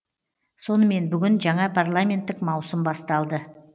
сонымен бүгін жаңа парламенттік маусым басталды